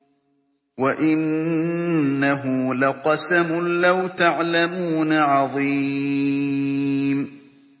وَإِنَّهُ لَقَسَمٌ لَّوْ تَعْلَمُونَ عَظِيمٌ